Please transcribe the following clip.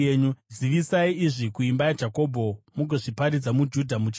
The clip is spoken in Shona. “Zivisai izvi kuimba yaJakobho mugozviparidza maJudha muchiti: